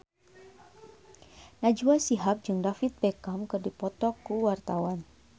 Najwa Shihab jeung David Beckham keur dipoto ku wartawan